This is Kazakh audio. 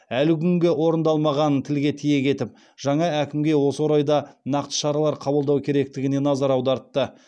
әлі күнге орындалмағанын тілге тиек етіп жаңа әкімге осы орайда нақты шаралар қабылдау керектігіне назар аудартты